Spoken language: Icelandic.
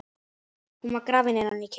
Hún var grafin innan kirkju.